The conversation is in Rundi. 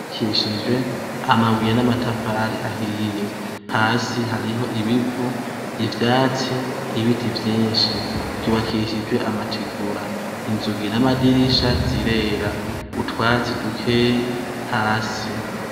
Ishure ry'ubakishijwe amabuye namatafari ahiye, hasi hariho ibivu, ivyatsi ,ibiti vyinshi, ry'ubakishijwe amategura, inzugi namadirisha zirera utwatsi dukeyi hasi.